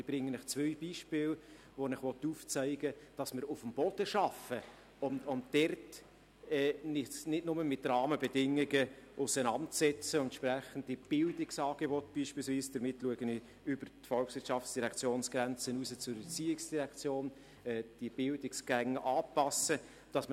Ich nenne Ihnen zwei Beispiele, mit denen ich Ihnen aufzeigen will, dass wir uns nicht nur mit Rahmenbedingungen auseinandersetzen, sondern auf dem Boden arbeiten und beispielsweise entsprechende Bildungsangebote anpassen – damit blicke ich über die Grenzen des VOL hinaus zur ERZ.